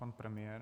Pan premiér.